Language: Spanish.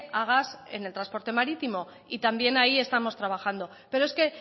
a gas en el transporte marítimo y también ahí estamos trabajando pero es que